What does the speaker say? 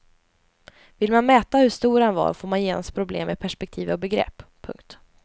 Vill man mäta hur stor han var får man genast problem med perspektiv och begrepp. punkt